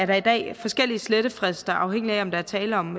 der i dag forskellige slettefrister afhængig af om der er tale om